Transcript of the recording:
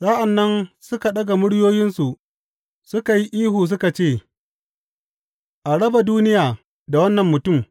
Sa’an nan suka ɗaga muryoyinsu suka yi ihu suka ce, A raba duniya da wannan mutum!